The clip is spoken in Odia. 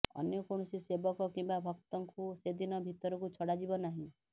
ଅନ୍ୟ କୌଣସି ସେବକ କିମ୍ବା ଭକ୍ତଙ୍କୁ ସେଦିନ ଭିତରକୁ ଛଡାଯିବ ନାହିଁ